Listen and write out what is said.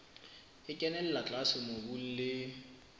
e kenella tlase mobung le